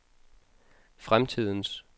fremtidens